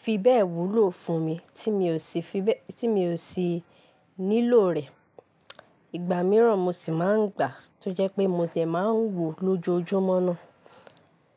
fi bẹ́ẹ̀ wúlò fún mi tí mi ò sì nílò rẹ̀. Ìgbà mìíràn mo sì máa ń gbà tó jẹ́ pé mo dẹ̀ máa ń wò lójoojúmọ́ ná.